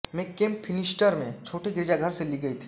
में Cape Finisterre में छोटे गिरजाघर से ली गयी थी